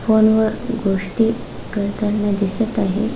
फोनवर गोष्टी करताना दिसत आहे.